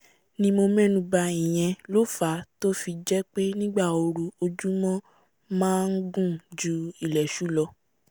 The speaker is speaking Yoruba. ni mo mẹ́nu bà ìyẹn ló fàá tó fi jẹ́ pé nígbà ooru ọjúmọ́ máa ngùn ju ilẹ̀ṣú lọ